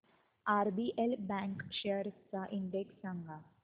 RBL bank shares चा index सांगा